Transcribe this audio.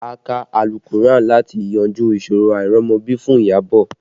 A kà àlùkùránì láti yanjú ìṣòro àìrọ́mọbí fún Iyabọ̀